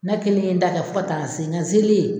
Nɛ kelen ye n da kɛ fɔ ka taa n se ŋa n zelen